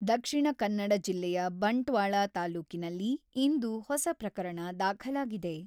ದಕ್ಷಿಣ ಕನ್ನಡ ಜಿಲ್ಲೆಯ ಬಂಟ್ವಾಳ ತಾಲೂಕಿನಲ್ಲಿ ಇಂದು ಹೊಸ ಪ್ರಕರಣ ದಾಖಲಾಗಿದೆ.